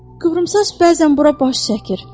Qıvrımsaç bəzən bura baş çəkir.